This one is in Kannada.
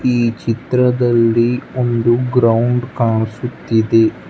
ಈ ಚಿತ್ರದಲ್ಲಿ ಒಂದು ಗ್ರೌಂಡ್ ಕಾಣಿಸುತ್ತಿದೆ.